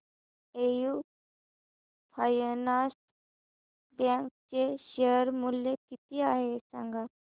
AU finance bank चे share मूल्य किती आहे सांगा